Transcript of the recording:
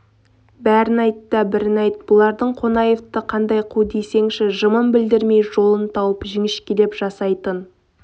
бәрін айт та бірін айт бұлардың қонаевы қандай қу десеңші жымын білдірмей жолын тауып жіңішкелеп жасайтын